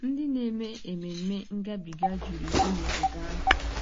Ndị na-eme Ememme Ngabiga juru eju n'obodo ahụ.